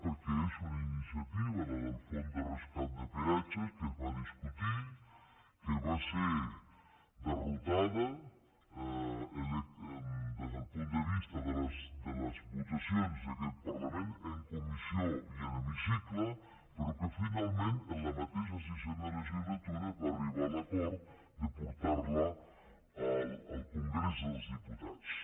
perquè és una iniciativa la del fons de rescat de peatges que es va discutir que va ser derrotada des del punt de vista de les votacions d’aquest parlament en comissió i en hemicicle però que finalment en la mateixa sisena legislatura es va arribar a l’acord de portar la al congrés dels diputats